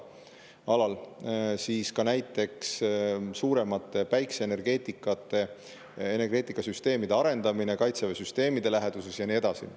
Ja veel näiteks suuremate päikeseenergiasüsteemide arendamine Kaitseväe süsteemide läheduses ja nii edasi.